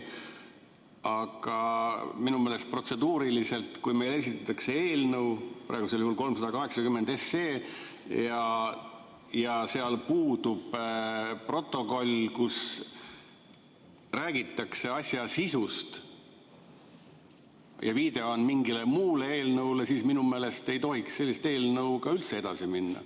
Aga minu meelest on protseduuriliselt nii, et kui meile esitatakse eelnõu, praegusel juhul eelnõu 380, ja selle kohta puudub protokoll, kus räägitaks asja sisust – selle asemel viidatakse mingile muule eelnõule –, siis minu meelest ei tohiks sellise eelnõuga üldse edasi minna.